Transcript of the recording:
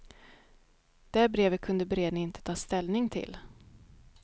Det brevet kunde beredningen inte ta ställning till.